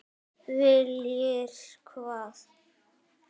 Viljir hvað?